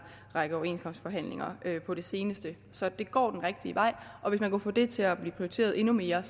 række overenskomstforhandlinger på det seneste så det går den rigtige vej og hvis man kunne få det til at blive prioriteret endnu mere